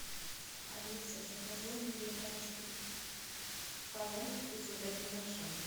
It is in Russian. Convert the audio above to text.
алиса закажи мне пачку бананов из магазина ашан